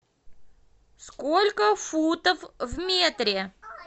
сколько футов в метре